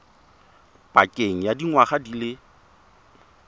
pakeng ya dingwaga di le